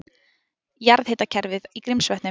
Jarðhitakerfið í Grímsvötnum.